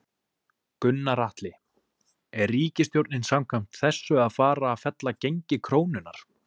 Gunnar Atli: Er ríkisstjórnin samkvæmt þessu að fara að fella gengi krónunnar?